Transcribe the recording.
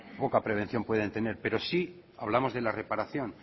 poca prevención pueden tener pero sí hablamos de la reparación